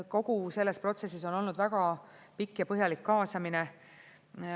Kogu selles protsessis on olnud väga pikk ja põhjalik kaasamine.